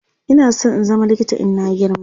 Ina San in zama likita in na girma